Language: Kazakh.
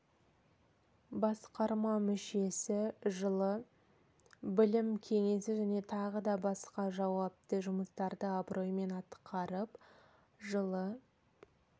басқарма мүшесі жылы іі білім кеңесі және тағы да басқа жауапты жұмыстарды абыроймен атқарып жылы